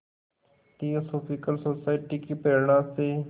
theosophical Society की प्रेरणा से